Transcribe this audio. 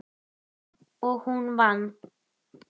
Og hún vann.